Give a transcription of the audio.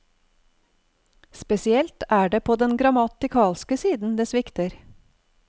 Spesielt er det på den grammatikalske siden det svikter.